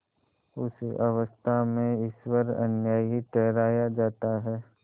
उस अवस्था में ईश्वर अन्यायी ठहराया जाता है